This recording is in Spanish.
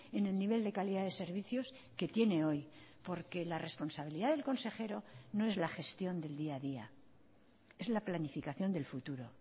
en el nivel de calidad de servicios que tiene hoy porque la responsabilidad del consejero no es la gestión del día a día es la planificación del futuro